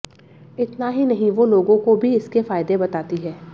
इतना ही नहीं वो लोगों को भी इसके फायदे बताती हैं